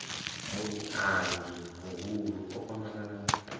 muiangi muhulu o kwamana na